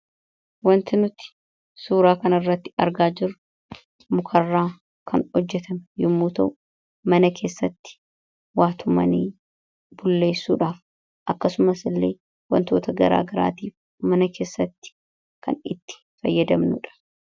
Wanti nuti suuraa kanarratti argaa jirru mukarraa kan hojjetame yommuu ta'u, mana keessatti waa tumanii bulleessuudhaaf akkasumas illee wantoota garaagaraatiif mana keessatti kan itti fayyadamnuu dha.